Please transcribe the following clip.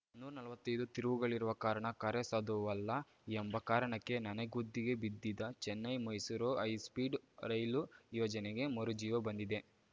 ನೂರ್ ನಲ್ವತ್ತೈದು ತಿರುವುಗಳಿರುವ ಕಾರಣ ಕಾರ್ಯಸಾಧುವಲ್ಲ ಎಂಬ ಕಾರಣಕ್ಕೆ ನನೆಗುದಿಗೆ ಬಿದ್ದಿದ್ದ ಚೆನ್ನೈಮೈಸೂರು ಹೈಸ್ಪೀಡ್‌ ರೈಲು ಯೋಜನೆಗೆ ಮರುಜೀವ ಬಂದಿದೆ